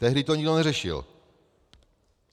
Tehdy to nikdo neřešil.